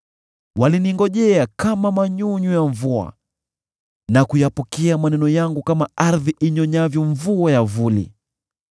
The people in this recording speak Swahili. Waliningojea kama manyunyu ya mvua na kuyapokea maneno yangu kama ardhi inyonyavyo mvua ya vuli.